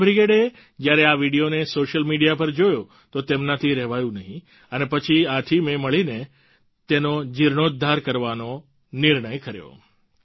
યુવા બ્રિગેડે જ્યારે આ વીડિયોને સોશિયલ મીડિયા પર જોયો તો તેમનાથી રહેવાયું નહીં અને પછી આ ટીમે મળીને તેનો જીણોદ્ધાર કરવાનો નિર્ણય કર્યો